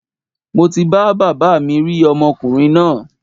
Mo ti bá baba mi rí ọmọkùrin náà